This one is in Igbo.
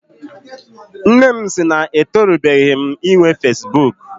Nne m sị na etorubeghi m inwe fesibuuku.